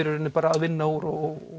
rauninni að vinna úr og